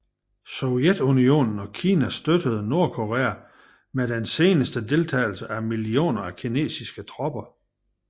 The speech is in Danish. Sovjetunionen og Kina støttede Nordkorea med den senere deltagelse af millioner af kinesiske tropper